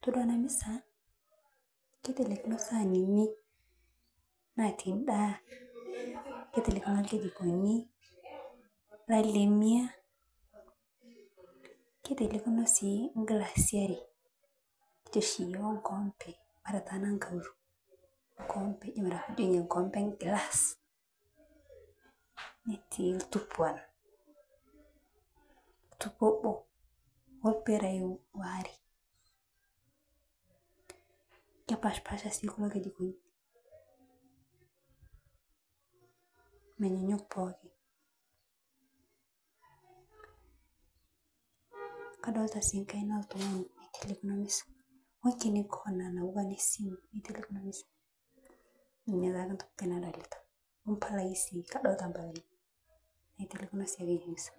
tadua ena misa kiteleikino isaanini naatii endaa kiteleikino nkijikoni nkalemia kiteleikino nkilasini are kijo oshi iyiook nkoombe ashu enkoombe englas netii oltupa obo orpira oare kepaashipaasha sii kulo kijikoni menyanyuk pookin kadolta sii enkaina oltung'ani naiteleikino emisa inye taake entoki nadolita ompalai sii adolta mpalai naitelekino sii ake emisa.